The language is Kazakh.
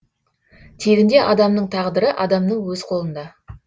тегінде адамның тағдыры адамның өз қолында